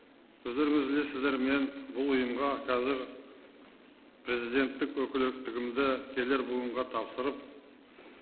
өздеріңіз білесіздер мен бұл ұйымға қазір президенттік өкілеттілігімді келер буынға тапсырып